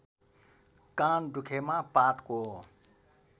कान दुखेमा पातको